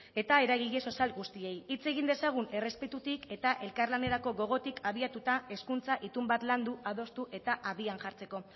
eta eragile sozial guztiei hitz egin dezagun errespetutik eta elkarlanerako gogotik abiatuta hezkuntza itun bat landu adostu eta abian jartzeko